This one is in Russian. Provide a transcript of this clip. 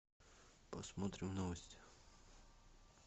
посмотрим новости